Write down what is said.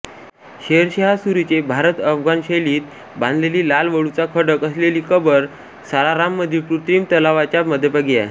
शेरशाह सूरीचे भारतअफगाण शैलीत बांधलेली लाल वाळूचा खडक असलेली कबर सासाराममधील कृत्रिम तलावाच्या मध्यभागी आहे